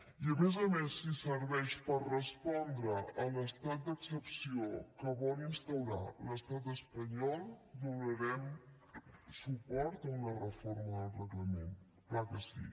i a més a més si serveix per respondre a l’estat d’excepció que vol instaurar l’estat espanyol donarem suport a una reforma del reglament clar que sí